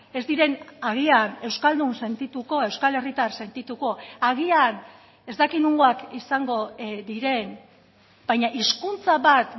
ez diren agian euskaldun sentituko euskal herritar sentituko agian ez dakit nongoak izango diren baina hizkuntza bat